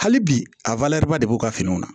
Hali bi a de b'u ka fini na